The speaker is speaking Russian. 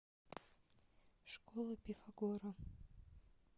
школа пифагора